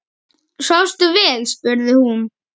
Svafstu vel? spurði hún.